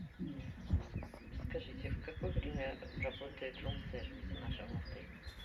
скажите в какое время работает рум сервис в нашем отеле